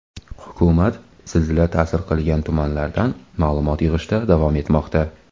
Hukumat zilzila ta’sir qilgan tumanlardan ma’lumot yig‘ishda davom etmoqda.